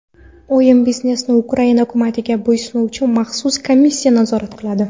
O‘yin biznesini Ukraina hukumatiga bo‘ysunuvchi maxsus komissiya nazorat qiladi.